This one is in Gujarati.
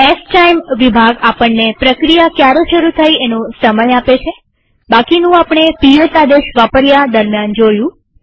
સ્ટાઇમ વિભાગ આપણને પ્રક્રિયા ક્યારે શરુ થઇ એનો સમય આપે છેબાકીનું આપણે પીએસ આદેશ વાપર્યા દરમ્યાન જોયું